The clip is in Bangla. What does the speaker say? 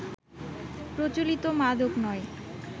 প্রচলিত মাদক নয়